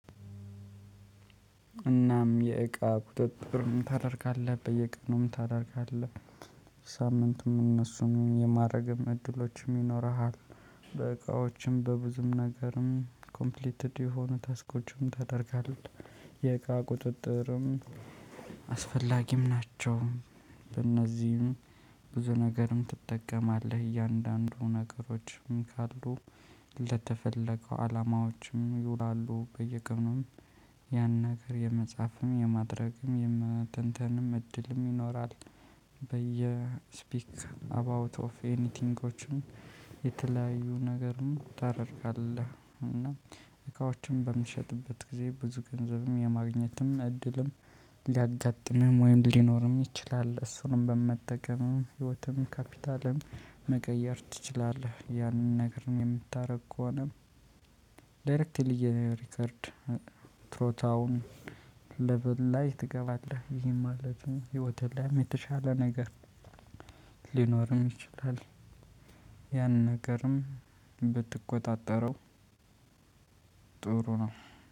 እናም የእቃ ቁጥጥር ታደርጋለህ በየቀኑም ታደርጋለህ ሳምንትም እነሱን የማድረግም እድሎችም ይኖርሃል። በእቃዎችም በብዙም ነገርም ኮምፕሊትድ የሆኑ ታስኮችም ታደርጋለህ። የእቃ ቁጥጥርም አስፈላጊም ናቸው። በእነዚህም ብዙ ነገርም ትጠቀማለህ እያንዳንዱ ነገሮችም ካሉ ለተፈለገው አላማዎችም ይውላሉ። በየቀኑም ያን ነገር የመጽሐፍም የማድረግም የመተንተንም እድልም ይኖራል። በየስፒክ ስፒክ አባውት ኦፍ ኤኒቲንጎችን የተለያዩ ነገርን ታደርጋለህ። እና እቃዎችን በምትሸጥበት ጊዜ ብዙ ገንዘብም የማግኘትም እድልም ሊያጋጥምም ወይም ሊኖርም ይችላል። እሱንም በመጠቀም ህይወትም ካፒታልም መቀየር ትችላለህ። ያንን ነገር ነው የምታደርግ ከሆነ። ዳይሬክትሊ የሪከርድ ትሮታውን ለብል ላይ ትገባለህ። ይሄ ማለት ህይወትህ ላይም የተሻለ ነገር ሊኖርም ይችላል። ያን ነገርም ብትቆጣጠረው ጥሩ ነው።